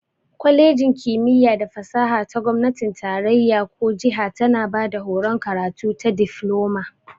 Kwalejin kimiyya da fasaha ta gomnatin tarayya ko jiha tana bada horon karatu ta Difloma.